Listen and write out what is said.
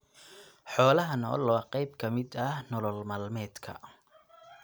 Xoolaha nool waa qayb ka mid ah nolol maalmeedka.